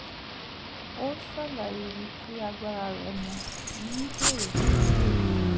ó ṣàlàyé ibi tí agbára rẹ̀ mó ní èrò pé yóò yé wọn